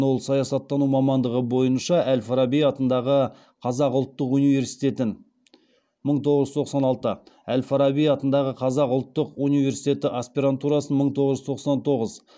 ол саясаттану мамандығы бойынша әл фараби атындағы қазақ ұлттық университетін әл фараби атындағы қазақ ұлттық университетінің аспирантурасын